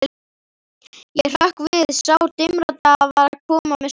Ég hrökk við, sá dimmraddaði var að koma með svarið.